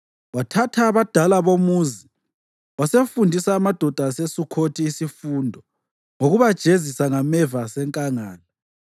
Wathatha abadala bomuzi wasefundisa amadoda aseSukhothi isifundo ngokubajezisa ngameva asenkangala.